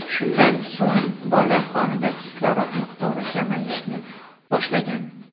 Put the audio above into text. Shundan so‘ng bola qonida kislorod miqdori kamayishni boshlagan.